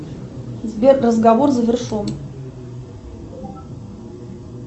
сбер разговор завершен